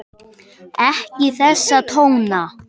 Ekki þessa tóna!